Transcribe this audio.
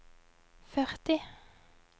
førti